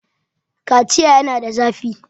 Kaciya yana da zafi.